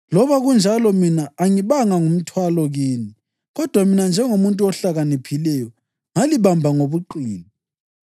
Loba kunjalo, mina angibanga ngumthwalo kini. Kodwa mina njengomuntu ohlakaniphileyo, ngalibamba ngobuqili!